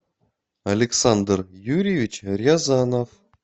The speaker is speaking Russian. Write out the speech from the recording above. александр юрьевич рязанов